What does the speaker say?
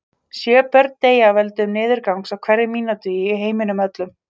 Sjö börn deyja af völdum niðurgangs á hverri mínútu í heiminum öllum.